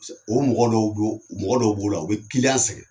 O mɔgɔ dɔw don mɔgɔ dɔw b'o la u bɛ kiliyan sɛgɛn.